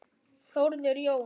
Þórður Jóns